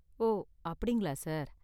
ஓ அப்படிங்களா, சார்.